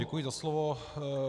Děkuji za slovo.